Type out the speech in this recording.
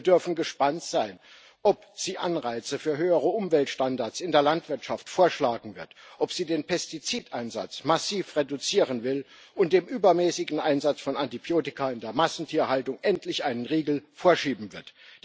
Wir dürfen gespannt sein, ob sie Anreize für höhere Umweltstandards in der Landwirtschaft vorschlagen wird, ob sie den Pestizideinsatz massiv reduzieren will und dem übermäßigen Einsatz von Antibiotika in der Massentierhaltung endlich einen Riegel vorschieben wird.